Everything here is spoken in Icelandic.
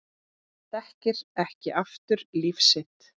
Þekkir ekki aftur líf sitt